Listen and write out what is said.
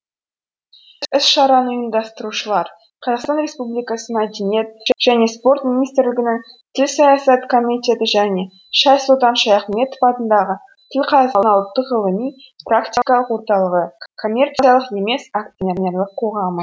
іс шараны ұйымдастырушылар қазақстан республикасы мәдениет және спорт министрлігінің тіл саясаты комитеті және шайсұлтан шаяхметов атындағы тіл қазына ұлттық ғылыми практикалық орталығы коммерциялық емес акционерлік қоғамы